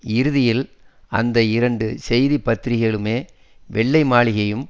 இறுதியில் அந்த இரண்டு செய்தி பத்திரிகைகளுமே வெள்ளை மாளிகையும்